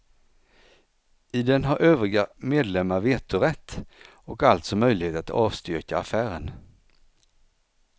I den har övriga medlemmar vetorätt och alltså möjlighet att avstyrka affären.